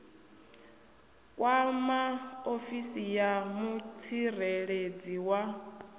kwama ofisi ya mutsireledzi wa